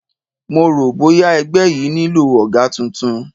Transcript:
Mo rò bóya ẹgbẹ́ yìí nílò ọ̀gá tuntun